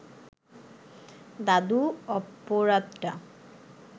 দাদু অপরাধটা